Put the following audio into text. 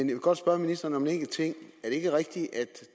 vil godt spørge ministeren om en enkelt ting er det ikke rigtigt at